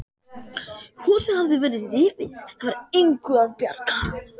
Húsið hafði verið rifið, það var engu að bjarga.